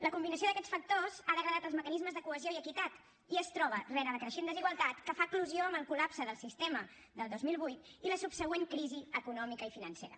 la combinació d’aquests factors ha degradat els mecanismes de cohesió i equitat i es troba rere la creixent desigualtat que fa eclosió amb el col·lapse del sistema del dos mil vuit i la subsegüent crisi econòmica i financera